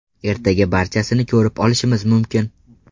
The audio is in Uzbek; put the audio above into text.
Ertaga barchasini ko‘rib olishimiz mumkin”.